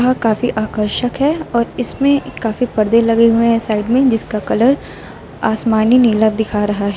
काफी आकर्षक है और इसमें काफी पर्दे लगे हुए हैं साइड में जिसका कलर आसमानी नीला दिखाई दे रहा है।